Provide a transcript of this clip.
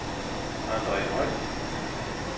Andre Høj